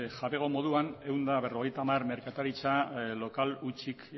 jabego moduan ehun eta berrogeita hamar merkataritza lokal hutsik